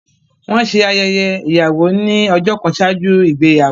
Wọ́n ṣe ayẹyẹ ìyàwó ní ọjọ́ kan ṣáájú ìgbéyàwó